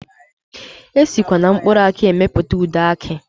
Esikwa na mkpụrụ aki emepụta ude aki.